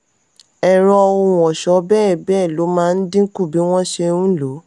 ẹ̀rọ ohun-ọṣọ bẹ́ẹ̀ bẹ́ẹ̀ lọ máa ń dínkù bí wọ́n ṣe ń lòó.